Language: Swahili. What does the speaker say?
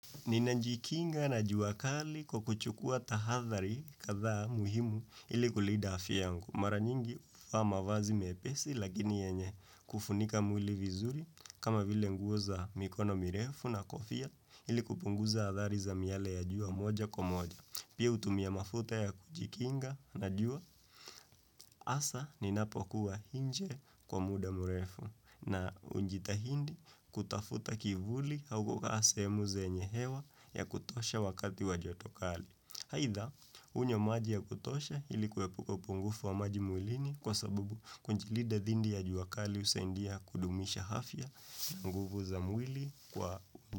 Nina jikinga na juakali kwakuchukua tahathari kathaa muhimu ili kulida afya yangu. Mara nyingi huvaa mavazi mepesi lakini yanye kufunika mwili vizuri kama vile nguo za mikono mirefu na kofia ili kupunguza athari za miale ya jua moja kwa moja. Pia hutumia mafuta ya kujikinga na jua hasa ninapokuwa hinje kwa muda murefu na unjitahidi kutafuta kivuli hau kukaa sehemu zenye hewa ya kutosha wakati wa jotokali. Haitha, hunywa maji ya kutosha ilikuepuka upungufu wa maji mwilini kwa sabubu kujilida dhindi ya juakali usaindia kudumisha hafya nguvu za mwili kwa.